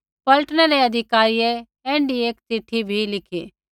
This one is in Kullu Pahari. पलटनै रै अधिकारियै ऐण्ढी एक चिट्ठी भी लिखी